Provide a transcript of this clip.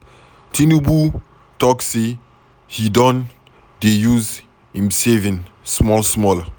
Tinubu talk say he don dey use im savings small small.